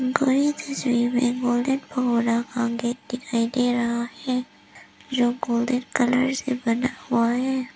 घोड़े की शेप में गोल्डन कलर वाला दिखाई दे रहा है जो गोल्डन कलर से बना हुआ है।